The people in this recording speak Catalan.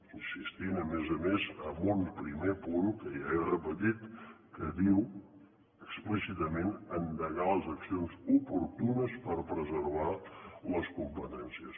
insistint a més a més en un primer punt que ja he repetit que diu explícitament endegar les accions oportunes per preservar les competències